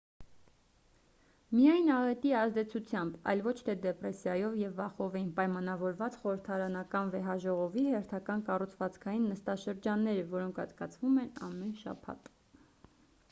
միայն աղետի ազդեցությամբ այլ ոչ թե դեպրեսիայով և վախով էին պայմանավորված խորհրդարանական վեհաժողովի հերթական կառուցվածքային նստաշրջանները որոնք անցկացվում են ամեն շաբաթ